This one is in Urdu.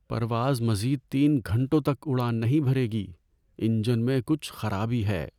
پرواز مزید تین گھنٹوں تک اڑان نہیں بھرے گی۔ انجن میں کچھ خرابی ہے۔